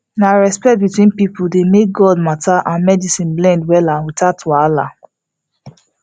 na respect between people dey make god matter and medicine blend wella without wahala